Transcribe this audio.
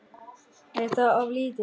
Er það of lítið?